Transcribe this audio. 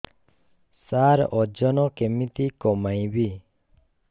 ସାର ଓଜନ କେମିତି କମେଇବି